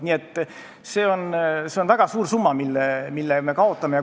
Nii et see on väga suur summa, mille me kaotame.